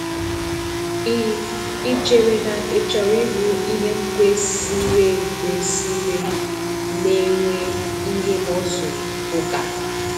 Ì Ì chere na ị chọrọ ịbụ ihe kwesìrè ékwesìrè na-enwe ihe muscle ùká?